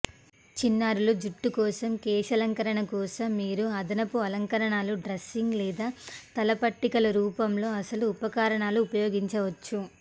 చిన్నారులు జుట్టు కోసం కేశాలంకరణ కోసం మీరు అదనపు అలంకరణలు డ్రెస్సింగ్ లేదా తలపట్టికలు రూపంలో అసలు ఉపకరణాలు ఉపయోగించవచ్చు